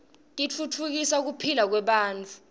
titfutfukisa kuphila kwebantfu